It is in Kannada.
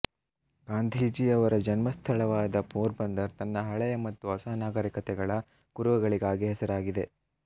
ಗಾಂಧಿಯವರ ಜನ್ಮ ಸ್ಥಳವಾದ ಪೋರ್ಬಂದರ್ ತನ್ನ ಹಳೆಯ ಮತ್ತು ಹೊಸ ನಾಗರಿಕತೆಗಳ ಕುರುಹುಗಳಿಗಾಗಿ ಹೆಸರಾಗಿದೆ